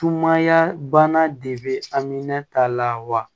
Tumaya banna de bɛ amina ta la wa